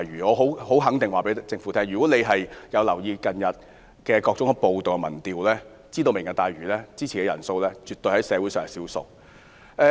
我很肯定告訴政府，如果政府有留意近日的各項民調，便應知道支持"明日大嶼"的人絕對是社會上的少數。